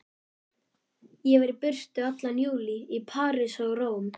Ég var í burtu allan júlí, í París og Róm.